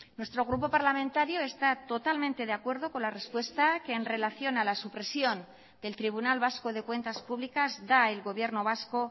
nuestro grupo parlamentario está totalmente de acuerdo con la respuesta que en relación a la supresión del tribunal vasco de cuentas públicas da el gobierno vasco